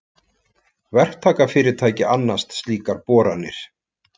Verktakafyrirtæki annast slíkar boranir.